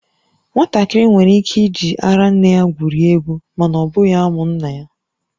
Nwatakịrị nwere ike iji ara nne ya gwurie egwu, mana ọ bụghị amụ nna ya